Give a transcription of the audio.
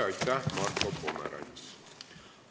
Aitäh, Marko Pomerants!